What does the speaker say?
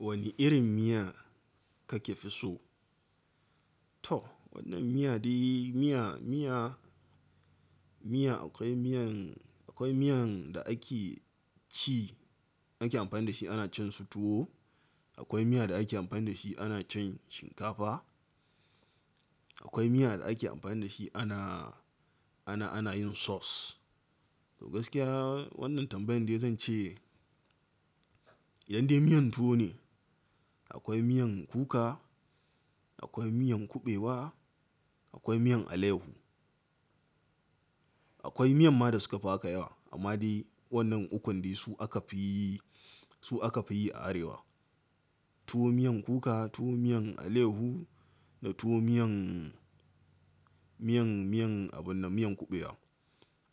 Wani irin miya kake fi so? To wannan miya dai miya, miya, miya akwai miyan, akwai miyan da ake ci ake amfani da shi ana cin su tuwo. Akwai miya da ake amfani da shi ana cin shinkafa. Akwai miya da ake amfani da shi ana, ana, ana yin sauce. To gaskiya wannan tambayan dai zan ce idan dai miyan tuwo ne, akwai miyan kuka, akwai miyan kuɓewa, akwai miyan alehu. Akwai miyan ma da suka fi haka yawa amma dai wannan ukun dai su aka fi, su aka fi yi a arewa. Tuwo miyan kuka, tuwo miyan aleyahu da tuwo miyan, miyan, miyan abin na miyan kuɓewa.